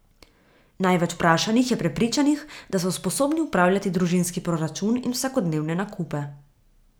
Največ vprašanih je prepričanih, da so sposobni upravljati družinski proračun in vsakodnevne nakupe.